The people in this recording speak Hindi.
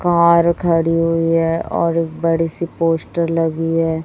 कार खड़ी हुई है और एक बड़ी सी पोस्टर लगी है।